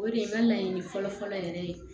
O de ye n ka laɲini fɔlɔ fɔlɔ yɛrɛ ye